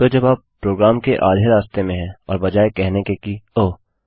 तो जब आप प्रोग्राम के आधे रास्ते में हैं और बजाय कहने के कि ओह160